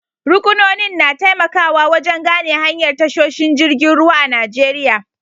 Ruƙunonin na taimakawa wajen gane hanyar tashoshin jirgin ruwa a Najeriya.